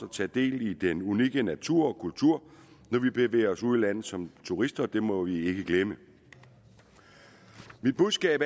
tage del i den unikke natur og kultur når vi bevæger os ud i landet som turister det må vi ikke glemme mit budskab